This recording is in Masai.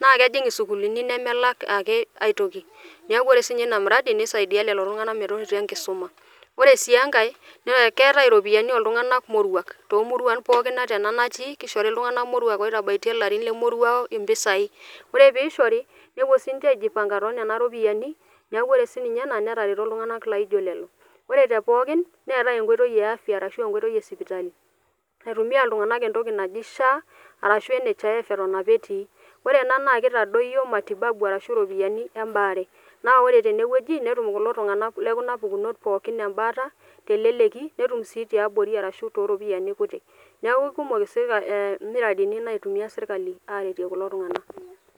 naa kejing' sukulini nemelak ake aitoki, naaku ore sii ninye ina miradi neisadiya lelo ltunganak meteretu enkisuma, ore sii enkae naa keatae iropiyiani oo ltunganak moruak too murua pookin ata ena natii, keishoti ltunganka moruak loitabaitie larin le moruau empisai, ore peishori nepo sii ninche aijipanga tee nena iropiyiani, naaku ore sii ninye ena netareto ltunganal naijo lelo, ore te pookin keatea enkoi e afya arashu enkoitoi esipitali eitumiya ltunganak entoki najii SHA arashu NHIF eton sps etii, ore enas naa keitadoiyo matibabu arashu iropiyiani ebaare, naa ore teneweji netum kulo tunganak le kuna pukunot pooki embaata te leleki netum sii te abori arashu too ripiyiani kutiti, naa ku ekumoki miradini naitumiya sirkali aaretie kulo tunganak.